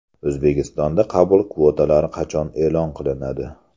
O‘zbekistonda qabul kvotalari qachon e’lon qilinadi?.